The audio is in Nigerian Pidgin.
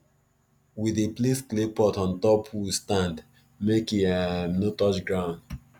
we dey place clay pot on top wood stand make e um no touch ground